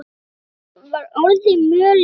Húsið var orðið mjög lélegt.